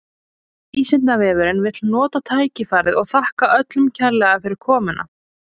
Vísindavefurinn vill nota tækifærið og þakka öllum kærlega fyrir komuna!